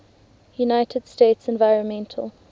united states environmental